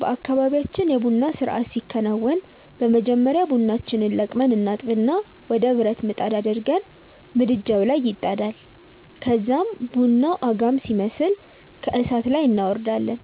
በአካባብያችን የ ቡና ስርአት ሲከናወን በመጀመሪያ ቡናችንን ለቅመን እናጥብና ወደ ብረት ምጣድ አድርገን ምድጃዉ ላይ ይጣዳል ከዛም ቡናዉ አጋም ሲመስል ከእሳት ላይ እናወርዳለን